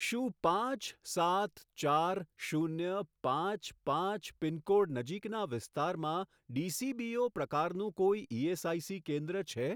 શું પાંચ સાત ચાર શૂન્ય પાંચ પાંચ પિનકોડ નજીકના વિસ્તારમાં ડીસીબીઓ પ્રકારનું કોઈ ઇએસઆઇસી કેન્દ્ર છે?